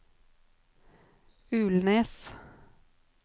Ulnes